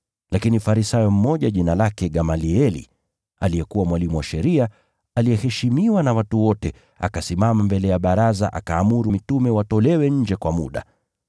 Lakini Farisayo mmoja, jina lake Gamalieli, aliyekuwa mwalimu wa sheria, aliyeheshimiwa na watu wote, akasimama mbele ya baraza akaamuru mitume watolewe nje kwa muda.